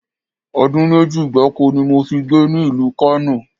Odun meji gbáko ni mo fi gbé ní ìlú Kano